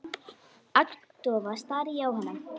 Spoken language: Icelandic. Agndofa stari ég á hana.